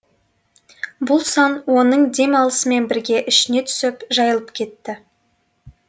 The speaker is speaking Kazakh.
бұл сан оның дем алысымен бірге ішіне түсіп жайылып кетті